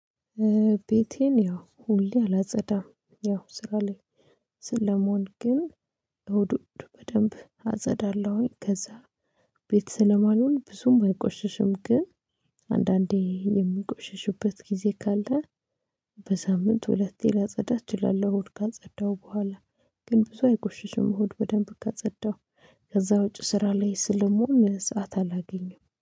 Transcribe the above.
ቤቴን ያው ሁሌ አላጸዳም ያው ስራ ላይ ስለምሆን ግን እሁድ እሁድ በደንብ አጸዳለሁኝ ከዛ ቤት ስለማልዉል ብዙም አይቆሽሽም ግን አንዳንዴ የምቆሽሽበት ጊዜ ካለ በሳምንት ሁለቴ ላጸዳ እችላለሁ አሁድ ካልጸዳው ቦኋላ ግን ብዙ አይቆሽሽም አሁድ በደንብ ካጸዳው። ከዛ ውጪ ስራ ላይ ስለምሆን ሰዓት አላገኝም።